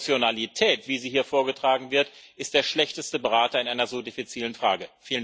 Emotionalität, wie sie hier vorgetragen wird, ist der schlechteste Berater in einer so diffizilen Frage.